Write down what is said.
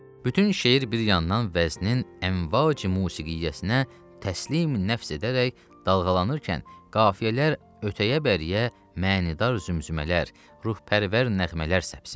Bütün şeir bir yandan vəznin əmvacı musiqiyyəsinə təslim nəfs edərək dalğalanarkən, qafiyələr ötəyə-bəriyə, mə'nidar zümzümələr, ruhpərvər nəğmələr səpsin.